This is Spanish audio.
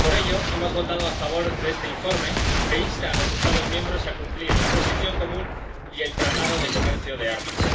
Por ello hemos votado a favor de este informe, que insta a los Estados miembros a cumplir la Posición Común y el Tratado de Comercio de Armas.